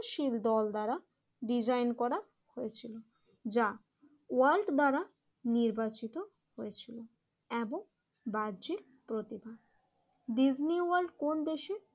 শীল দল দ্বারা ডিজাইন করা হয়েছিল, যা ওয়ার্ল্ড দ্বারা নির্বাচিত হয়েছিল। এমন বাহ্যিক প্রতিভা, ডিজনি ওয়ার্ল্ড কোন দেশে?